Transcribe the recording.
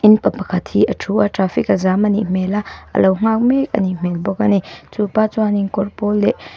pa pakhat hi a thu a traffic a jam a nih hmel a a lo nghak mek a ni hmel a ni chupa chuan kawr pawl leh--